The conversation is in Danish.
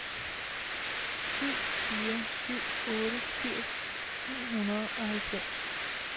syv fire syv otte firs ni hundrede og halvfems